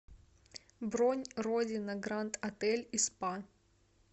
бронь родина гранд отель и спа